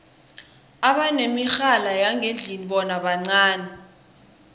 abanemirhala yangendlini bona bancani